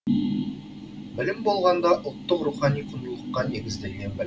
білім болғанда ұлттық рухани құндылыққа негізделген білім